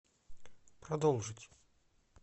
продолжить